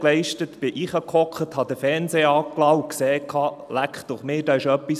Dort schaltete ich den Fernseher an und sah, dass etwas geschehen war.